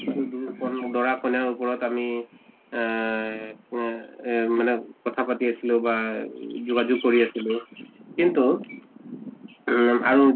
কন দৰা কইনাৰ উপৰত আমি এহ কেহ এহ মানে কথা পাতি আছলোঁ বা গ যোগাযোগ কৰি আছিলোঁ। কিন্তুউম আৰু